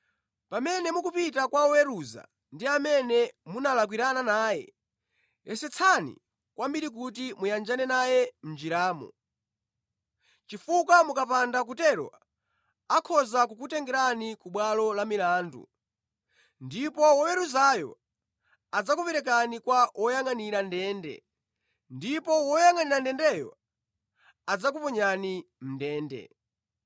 Pamene mukupita kwa woweruza ndi amene munalakwirana naye, yesetsani kwambiri kuti muyanjane naye mʼnjiramo, chifukwa mukapanda kutero akhoza kukutengerani ku bwalo la milandu ndipo woweruzayo adzakuperekani kwa woyangʼanira ndende, ndipo woyangʼanira ndendeyo adzakuponyani mʼndende.